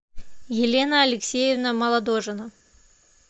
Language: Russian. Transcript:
елена алексеевна молодожина